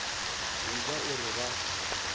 go ja o re ba